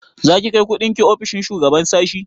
Za ki kai kundin ki ofishin shugaban sashi?